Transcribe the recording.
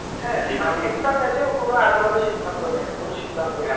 হ্যাঁ মানে একটা match এও কোন আজেবাজে সিদ্ধান্ত নেয়নি ভুল সিদ্ধান্ত নেয়নি।